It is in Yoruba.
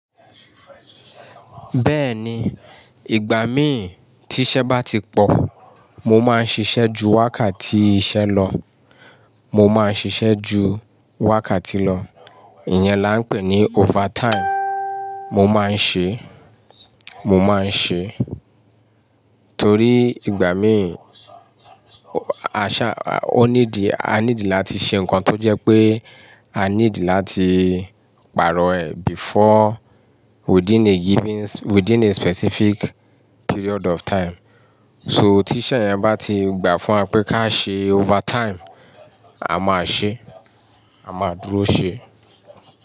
Bẹ́ẹ̀ni, ìgbà mí tí iṣẹ́ bá ti pọ̀, mo máa ń ṣiṣẹ́ ju wákàtí iṣẹ́ lọ, mo máa ń ṣiṣẹ́ ju wákàtí lọ. Ìyẹn là ń pè ní overtime. Mo máa ń ṣe, mo máa ń ṣe torí ìgbà mí, a ṣa-- a need láti ṣe nǹkan tó jẹ́ pé a need láti pààrọ̀ ẹ̀ before within a given, within a specific period of time. So tí iṣẹ́ yẹn bá ti gbà fún wa pé ká ṣe overtime, a máa ṣe, a máa dúró ṣe.